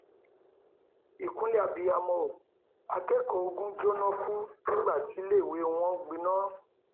ìkúnlẹ abiyamọ o akẹkọọ ogun jóná kú nígbà tíléèwé wọn gbiná